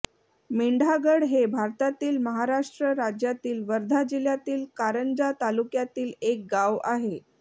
मेंढागड हे भारतातील महाराष्ट्र राज्यातील वर्धा जिल्ह्यातील कारंजा तालुक्यातील एक गाव आहे